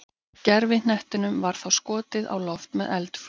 Gervihnettinum var þá skotið á loft með eldflaug.